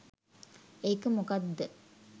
ඒක මොකක් ද